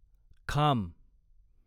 खाम